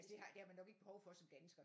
Altså det har man nok ikke behov for som dansker